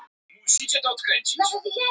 Og pabbi hennar lögfræðingur.